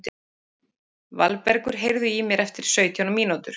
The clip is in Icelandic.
Valbergur, heyrðu í mér eftir sautján mínútur.